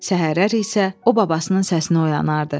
Səhərlər isə o babasının səsini oyanardı.